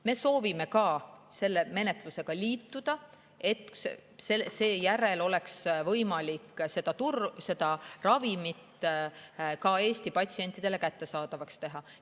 Me soovime ka selle menetlusega liituda, et seejärel oleks võimalik seda ravimit Eesti patsientidele kättesaadavaks teha.